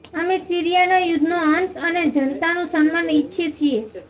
અમે સીરિયાના યુદ્ધનો અંત અને જનતાનું સન્માન ઇચ્છીએ છીએ